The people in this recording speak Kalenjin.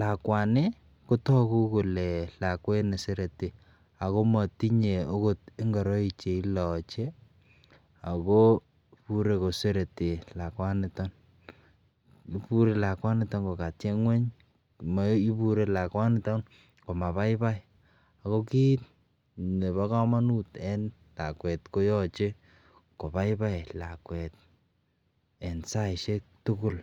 lakwaniton kotagu Kole lakwet nesereti akomatimye okot ingoroik cheilache akobure koaereti lakwaniton akobure kokatiech ngweny ibure lakwaniton komabaibai ako kit Nebo kamanut mising en lakwet koyache kobaibai en saishek tugul